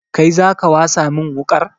Kai zaka wasa min wuƙar?